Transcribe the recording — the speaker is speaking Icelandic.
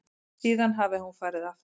Síðan hafi hún farið aftur.